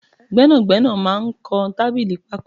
Gbẹ́nàgbẹ́nà máa ń kọ tábìlì pako